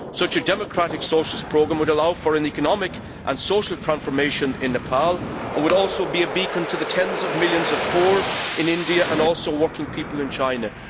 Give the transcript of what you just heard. Such a democratic socialist programme would allow for an economic and social transformation in Nepal and would also be a beacon to the tens of millions of poor in India and also working people in China.